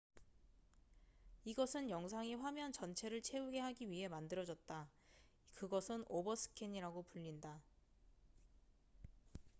이것은 영상이 화면 전체를 채우게 하기 위해 만들어졌다 그것은 오버스캔이라고 불린다